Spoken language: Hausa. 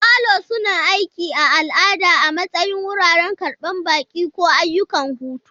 Falo suna aiki a al'ada a matsayin wuraren karɓan baƙi, ko ayyukan hutu.